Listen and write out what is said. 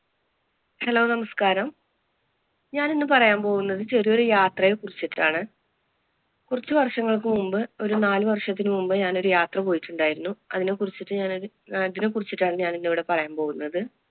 Hello നമസ്കാരം ഞാനിന്നു പറയാന്‍ പോകുന്നത് ചെറിയ ഒരു യാത്രയെ കുറിച്ചിട്ടാണ്. കുറച്ചു വര്‍ഷത്തിനു മുമ്പ് ഒരു നാല് വര്‍ഷത്തിനു മുമ്പ് ഞാനൊരു യാത്ര പോയിട്ടുണ്ടായിരുന്നു. അതിനെ കുറിച്ചിട്ടാണ് ഞാനിവിടെ പറയാന്‍ പോകുന്നത്.